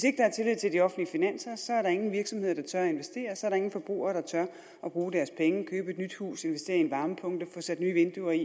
ikke er tillid til de offentlige finanser er der ingen virksomheder der tør at investere så er der ingen forbrugere der tør at bruge deres penge købe et nyt hus investere i en varmepumpe få sat nye vinduer i